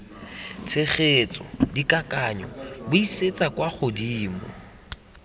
tshegetsa dikakanyo buisetsa kwa godimo